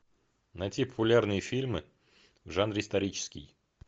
найти популярные фильмы в жанре исторический